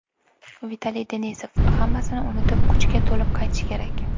Vitaliy Denisov: Hammasini unutib, kuchga to‘lib qaytish kerak.